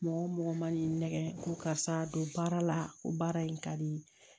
Mɔgɔ mɔgɔ man'i nɛgɛ ko karisa don baara la ko baara in ka di